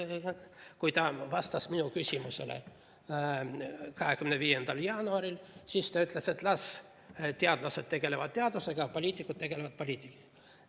Kui ta vastas minu küsimusele 25. jaanuaril, siis ta ütles, et las teadlased tegelevad teadusega, poliitikud tegelevad poliitikaga.